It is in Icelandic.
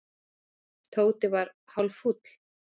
Tóti var hálffúll.